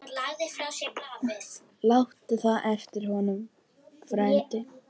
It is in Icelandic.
Láttu það eftir honum, frændi.